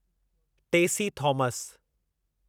Tessy Thomas